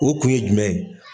O kun ye jumɛn ye?